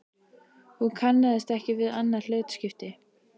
Hún kannaðist ekki við annað hlutskipti.